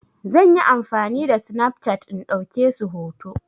Zan yi amfani da Snapchat in ɗauke su hoto.